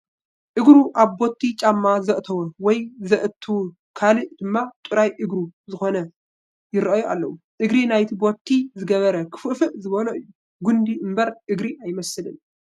እግሩ ኣብ ቦቲ ጫማ ዘእተወ ወይ ዘእተወት ካልእ ድማ ጥራይ እግሪ ዝኾነት ይርአዩ ኣለዉ፡፡ እግሪ ናይቲ ቦቲ ዝገበረ ክፍእፍእ ዝበሎ እዩ፡፡ ጉንዲ እምበር እግሪ ኣይመስልን፡፡